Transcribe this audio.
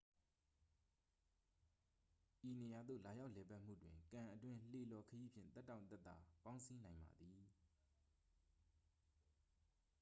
ဤနေရာသို့ လာရောက်လည်ပတ်မှုတွင် ကန်အတွင်း လှေလှော်ခရီးဖြင့် သက်တောင့်သက်သာ ပေါင်းစည်းနိုင်ပါသည်